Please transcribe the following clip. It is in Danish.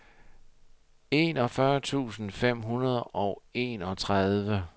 enogfyrre tusind fem hundrede og enogtredive